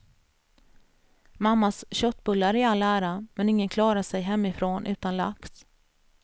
Mammas köttbullar i all ära, men ingen klarar sig hemifrån utan lax.